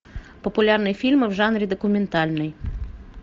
популярные фильмы в жанре документальный